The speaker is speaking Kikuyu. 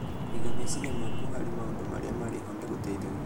Kũiga meciria maku harĩ maũndũ marĩa marĩ ho nĩ gũteithagia